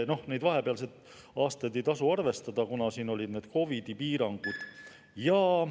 Vahepealseid aastaid ei tasu arvestada, kuna siis olid COVID-i piirangud.